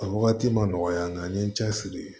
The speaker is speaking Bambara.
A wagati ma nɔgɔya n ye n cɛ siri